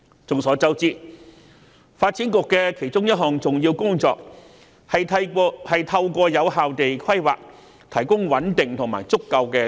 眾所周知，發展局其中一項重要工作是透過有效的土地規劃，提供穩定和足夠的土地。